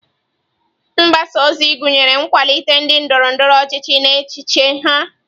Mgbasa ozi gụnyere ịkwalite ndị ndoro-ndoro ochichi na echiche ha.